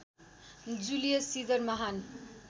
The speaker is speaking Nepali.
जुलियस सिजर महान